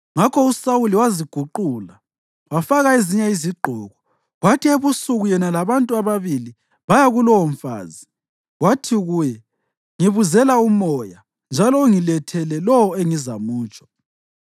Ngakho uSawuli waziguqula, wafaka ezinye izigqoko, kwathi ebusuku yena labantu ababili baya kulowomfazi. Wathi kuye, “Ngibuzela umoya, njalo ungilethele lowo engizamutsho.”